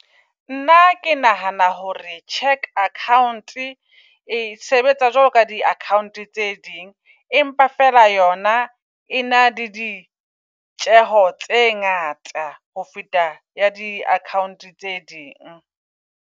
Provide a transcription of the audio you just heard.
Nna ke nahana hore cheque account e sebetsa jwalo ka di - account tse ding. Empa fela yona e na le di tjeho tse ngata ho feta ya di -account tse ding.